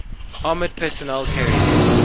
armored personnel carriers